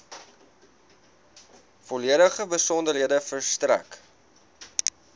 volledige besonderhede verstrek